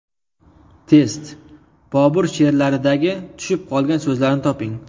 Test: Bobur she’rlaridagi tushib qolgan so‘zlarni toping.